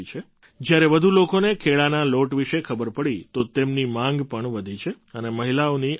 જ્યારે વધુ લોકોને કેળાના લોટ વિશે ખબર પડી તો તેમની માગ પણ વધી અને આ મહિલાઓની આવક પણ